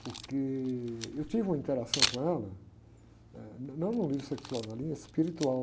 Porque eu tive uma interação com ela, não no nível sexual, na linha espiritual.